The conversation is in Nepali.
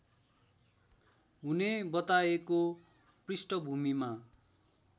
हुने बताएको पृष्ठभूमिमा